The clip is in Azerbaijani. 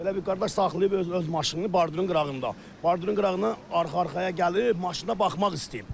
Belə bir qardaş saxlayıb öz maşınını, bardurun qırağında, bardurun qırağına arxa-arxaya gəlib, maşına baxmaq istəyib.